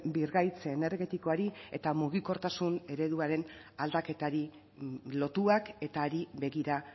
birgaitze energetikoari eta mugikortasun ereduaren aldaketari lotuak eta hari begira